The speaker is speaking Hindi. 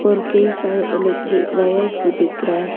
और कई सारे इलेक्ट्रिक वायर्स भी दिख रहा है।